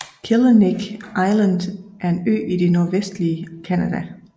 Killiniq Island er en ø i det nordvestlige Canada